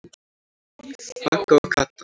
Magga og Kata.